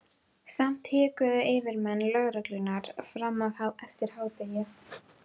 Samt hikuðu yfirmenn lögreglunnar fram eftir degi.